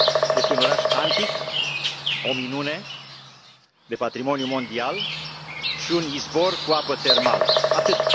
este un oraș antic, o minune de patrimoniu mondial, și un izvor cu apă termală, atât.